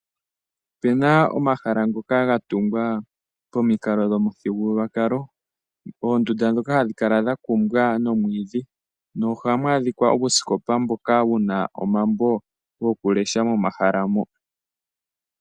Ope na omahala ngoka ga tungwa pamikalo dhopamuthigululwakalo, oondunda ndhoka hadhi kala dha kungwa nomwiidhi nohamu adhika uusikopa mboka wu na omambo gokulesha momahala mo.